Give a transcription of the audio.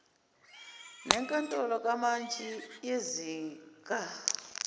nenkantolo kamantshi yezinga